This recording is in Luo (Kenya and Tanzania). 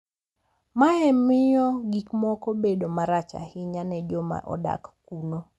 Mae miyo gik moko bedo marach ahinya ne joma odak kuno.